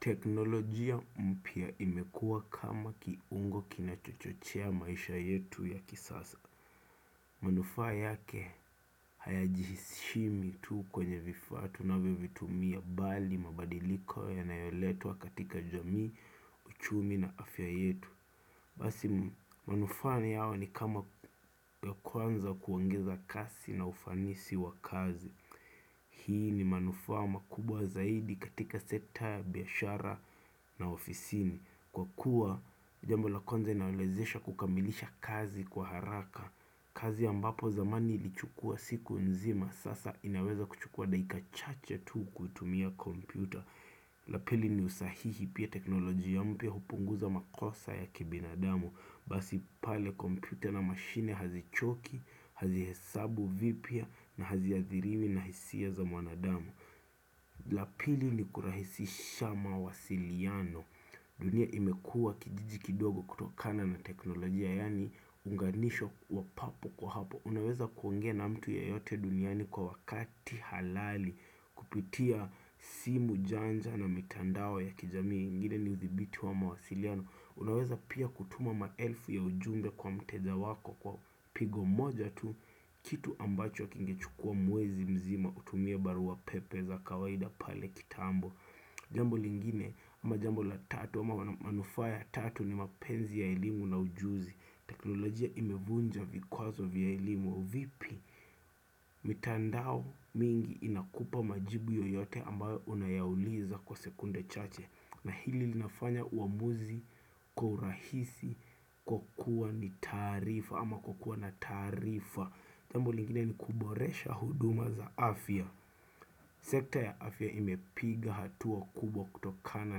Teknolojia mpya imekua kama kiungo kinachochochea maisha yetu ya kisasa. Manufaa yake hayajihishimi tu kwenye vifaa tunavyovitumia bali mabadiliko yanayoletwa katika jamii, uchumi na afya yetu. Basi manufaa yao ni kama ya kwanza kuongeza kasi na ufanisi wa kazi. Hii ni manufaa makubwa zaidi katika sekta ya biashara na ofisini. Kwa kuwa jambo la kwanza inawezesha kukamilisha kazi kwa haraka kazi ambapo zamani ilichukua siku nzima Sasa inaweza kuchukua dakika chache tu kuitumia kompyuta la pili ni usahihi pia teknolojia mpya hupunguza makosa ya kibinadamu Basi pale kompyuta na mashine hazichoki, hazihesabu vipya na haziathiriwi na hisia za mwanadamu la pili ni kurahisisha mawasiliano dunia imekua kijiji kidogo kutokana na teknolojia yaani uunganisho wa papo kwa hapo Unaweza kuongea na mtu yeyote duniani kwa wakati halali kupitia simu janja na mitandao ya kijamii ingine ni udhibiti wa mawasiliano Unaweza pia kutuma maelfu ya ujumbe kwa mteja wako kwa pigo moja tu Kitu ambacho kingechukua mwezi mzima kutumia baru wa pepe za kawaida pale kitambo Jambo lingine ama jambo la tatu ama manufaa ya tatu ni mapenzi ya elimu na ujuzi teknolojia imevunja vikwazo vya elimu vipi mitandao mingi inakupa majibu yoyote ambayo unayauliza kwa sekunde chache na hili linafanya uamuzi, kwa urahisi, kukua ni taarifa ama kwakua na taarifa Jambo lingine ni kuboresha huduma za afya sekta ya afya imepiga hatua kubwa kutokana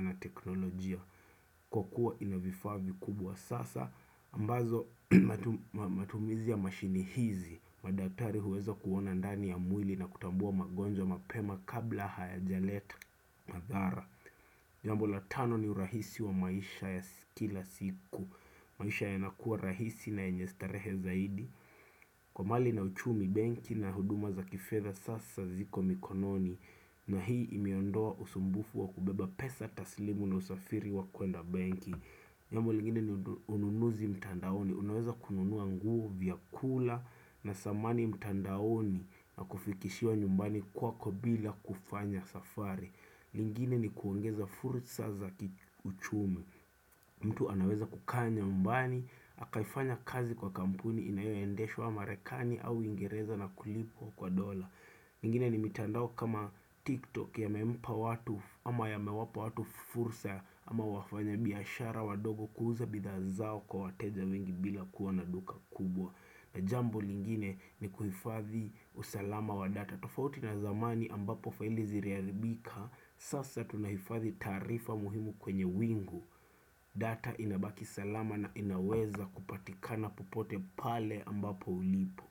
na teknolojia. Kwakua ina vifaa vikubwa sasa, ambazo matumizi ya mashini hizi, madatari huweza kuona ndani ya mwili na kutambua magonjwa mapema kabla hayajaleta madhara. Jambo la tano ni rahisi wa maisha ya kila siku, maisha yanakuwa rahisi na yenye starehe zaidi, kwa mali na uchumi benki na huduma za kifedha sasa ziko mikononi, na hii imeondoa usumbufu wa kubeba pesa taslimu na usafiri wa kuenda benki. Jambo lingine ni ununuzi mtandaoni. Unaweza kununua nguvu vyakula na samani mtandaoni na kufikishiwa nyumbani kwako bila kufanya safari. Lingine ni kuongeza fursa za kiuchumi. Mtu anaweza kukaa nyumbani, akaifanya kazi kwa kampuni inayoendeshwa marekani au uingereza na kulipwa kwa dollar. Ingine ni mitandao kama TikTok yamempa watu ama yamewapa watu fursa ama wafanya biashara wadogo kuuza bidhaa zao kwa wateja wengi bila kuwa na duka kubwa na jambo lingine ni kuhifadhi usalama wa data tufauti na zamani ambapo faili ziliharibika, sasa tunahifadhi taarifa muhimu kwenye wingu data inabaki salama na inaweza kupatikana popote pale ambapo ulipo.